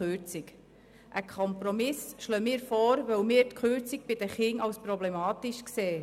Wir schlagen einen Kompromiss vor, weil wir die Kürzung bei den Kindern als problematisch erachten.